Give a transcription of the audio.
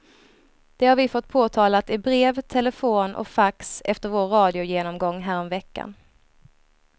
Det har vi fått påtalat i brev, telefon och fax efter vår radiogenomgång härom veckan.